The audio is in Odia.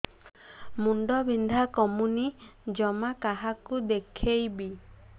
ମୁଣ୍ଡ ବିନ୍ଧା କମୁନି ଜମା କାହାକୁ ଦେଖେଇବି